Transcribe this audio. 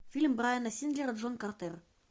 фильм брайана сингера джон картер